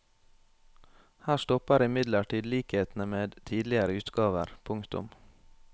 Her stopper imidlertid likhetene med tidligere utgaver. punktum